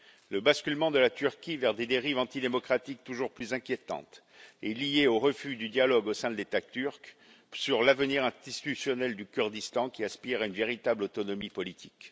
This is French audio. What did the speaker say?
Le basculement de la Turquie vers des dérives antidémocratiques toujours plus inquiétantes est lié au refus du dialogue au sein de l'État turc sur l'avenir institutionnel du Kurdistan, qui aspire à une véritable autonomie politique.